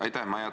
Aitäh!